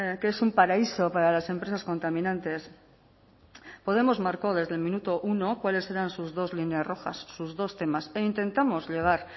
que es un paraíso para las empresas contaminantes podemos marcó desde el minuto uno cuáles eran sus dos líneas rojas sus dos temas e intentamos llegar